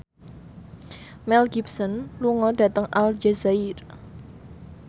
Mel Gibson lunga dhateng Aljazair